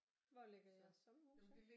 Hvor ligger jeres sommerhus så